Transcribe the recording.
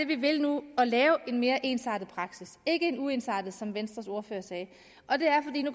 vi vil nu at lave en mere ensartet praksis ikke en uensartet sådan som venstres ordfører sagde